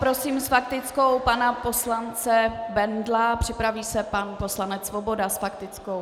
Prosím s faktickou pana poslance Bendla, připraví se pan poslanec Svoboda s faktickou.